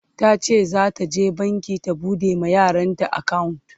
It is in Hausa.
tace zata je banki ta buɗe ma yaranta akawunt